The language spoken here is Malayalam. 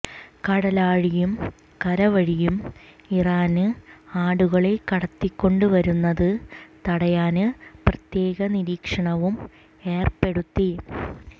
കടല്വഴിയും കരവഴിയും ഇറാന് ആടുകളെ കടത്തിക്കൊണ്ട് വരുന്നത് തടയാന് പ്രത്യേക നിരീക്ഷണവും ഏര്പ്പെടുത്തി